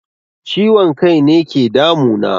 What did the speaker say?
Ciwon kaine ke damu na